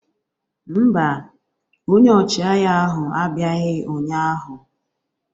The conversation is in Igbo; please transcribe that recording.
Mba, onye ọchịagha ahụ abịaghị ụnyahụ.